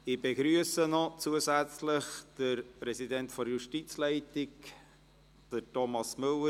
Ich begrüsse noch zusätzlich den Vorsitzenden der Justizleitung, Thomas Müller.